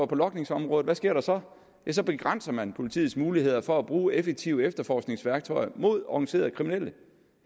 på logningsområdet hvad sker der så ja så begrænser man politiets muligheder for at bruge effektive efterforskningsværktøjer mod organiserede kriminelle